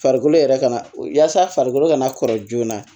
Farikolo yɛrɛ kana yaalasa farikolo ka na kɔrɔ joona